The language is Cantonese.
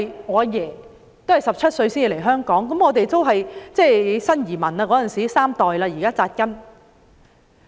我祖父17歲來香港，當時是新移民，現在已經在香港扎根三代。